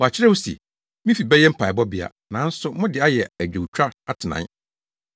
“Wɔakyerɛw se, ‘Me fi bɛyɛ mpaebɔbea; nanso mode ayɛ adwowtwafo atenae!’ ”